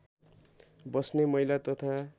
बस्ने महिला तथा